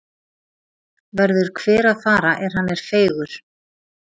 Verður hver að fara er hann er feigur.